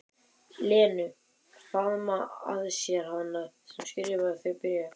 Lenu, faðma að sér hana sem skrifaði þau bréf.